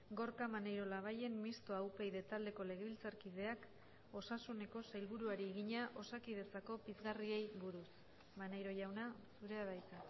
gorka maneiro labayen mistoa upyd taldeko legebiltzarkideak osasuneko sailburuari egina osakidetzako pizgarriei buruz maneiro jauna zurea da hitza